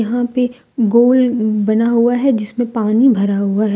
यहां पे गोल बना हुआ है जिसमें पानी भरा हुआ है।